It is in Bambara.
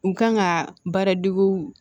U kan ka baara deguw